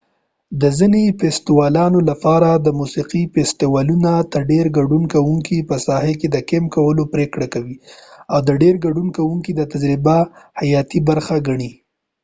د ځینې فیستیوالونو لپاره د موسیقي فیستیوالونو ته ډیر ګډون کوونکی په ساحه کې د کیمپ کولو پریکړه کوي او ډیری ګډون کونکي دا د تجربې حیاتي برخه ګڼي